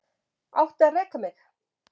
Átti að reka mig